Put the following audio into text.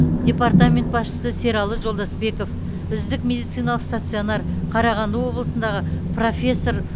департамент басшысы сералы жолдасбеков үздік медициналық стационар қарағанды облысындағы профессор